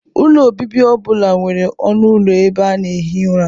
Ụlọ obibi ọ bụla nwere ọnụ ụlọ ebe a na-ehi ụra